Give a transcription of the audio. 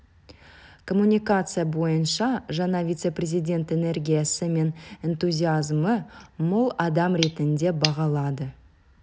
коммуникация бойынша жаңа вице-президент энергиясы мен энтузиазмы мол адам ретінде бағалады